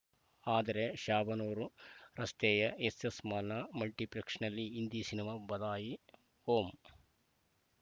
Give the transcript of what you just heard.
ಆದರೆ ಶಾಬನೂರು ರಸ್ತೆಯ ಎಸ್ಸೆಸ್‌ ಮಾಲ್‌ನ ಮಲ್ಟಿಪ್ಲೆಕ್ಸ್‌ನಲ್ಲಿ ಹಿಂದಿ ಸಿನಿಮಾ ಬದಾಯಿ ಹೋ